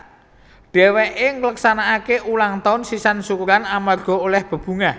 Dhèwèké ngleksanakaké ulang taun sisan syukuran amarga olèh bebungah